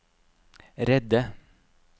redde